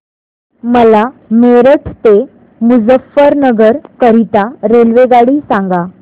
मला मेरठ ते मुजफ्फरनगर करीता रेल्वेगाडी सांगा